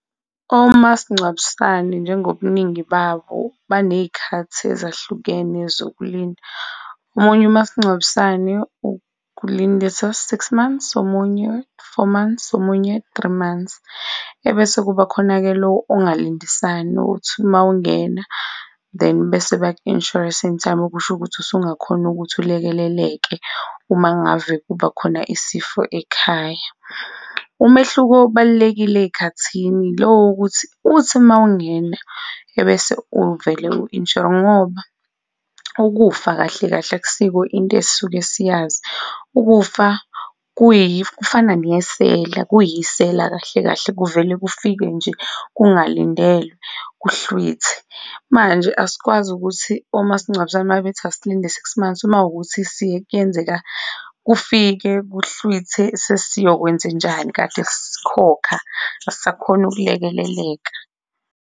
Omasingcwabisane njengobuningi babo baney'khathi ezahlukene zokulinda. Omunye umasingcwabisane ukulindisa six months, omunye four months, omunye three months, ebese kuba khona-ke lo ongalindisani, othi uma ungena then bese baku-insure-ra samectime okusho ukuthi usungakhona ukuthi ulekeleleke uma ngave kuba khona isifo ekhaya. Umehluko ubalulekile ey'khathini lowo ukuthi, uthi uma ungena ebese uvele u-insure-re ngoba ukufa kahle kahle akusiko into esuke siyazi, ukufa kufana nesela, kuyisela kahle kahle kuvele kufike nje, kungalindelwe kuhlwithe. Manje, asikwazi ukuthi omasingcwabisane uma bethi asilinde six months uma kuwukuthi kuyenzeka kufike kuhlwithe sesiyokwenzenjani kade sikhokha, asisakhoni ukulekeleleka.